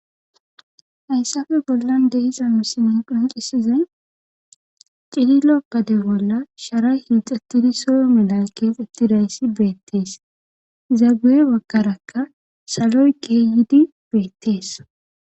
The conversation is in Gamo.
Hayssafe bollan deiza misinin qoqisizay cililokkade bolla shara hiixettidi soyo melal keexettidayssi beettees zaguye baggarakka saloy keeyidi beettees.